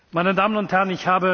Meine Damen und Herren!